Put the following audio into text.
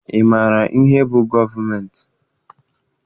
Ị maara ihe bụ gọọmentị?